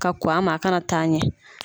Ka kɔn a ma a kana taa ɲɛ.